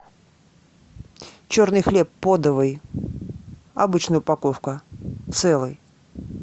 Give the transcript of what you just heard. черный хлеб подовый обычная упаковка целый